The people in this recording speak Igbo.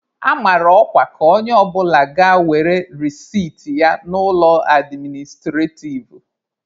A mara ọkwa ka onye ọbụla ga were resit ya n'ụlọ administrativ.